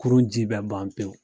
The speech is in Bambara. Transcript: Kurun ji bɛɛ ban pewu.